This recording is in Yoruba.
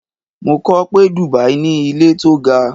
Mo kọ pé Dubai ní ilé tó ga